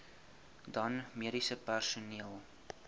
dan mediese personeel